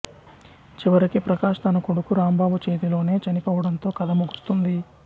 చివరికి ప్రకాష్ తన కొడుకు రాంబాబు చేతిలోనే చనిపోవడంతో కథ ముగుస్తుంది